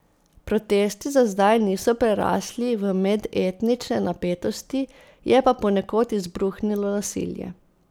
Protesti za zdaj niso prerasli v medetnične napetosti, je pa ponekod izbruhnilo nasilje.